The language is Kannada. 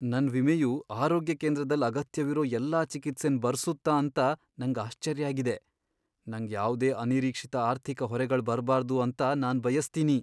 ನನ್ ವಿಮೆಯು ಆರೋಗ್ಯ ಕೇಂದ್ರದಲ್ ಅಗತ್ಯವಿರೋ ಎಲ್ಲಾ ಚಿಕಿತ್ಸೆನ್ ಬರ್ಸುತ್ತ ಅಂತ ನಂಗ್ ಆಶ್ಚರ್ಯ ಆಗಿದೆ. ನಂಗ್ ಯಾವ್ದೇ ಅನಿರೀಕ್ಷಿತ ಆರ್ಥಿಕ ಹೊರೆಗಳ್ ಬರ್ಬಾರ್ದು ಅಂತ ನಾನ್ ಬಯಸ್ತೀನಿ.